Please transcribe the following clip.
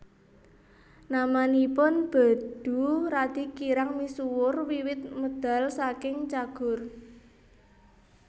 Namanipun Bedu radi kirang misuwur wiwit medal saking Cagur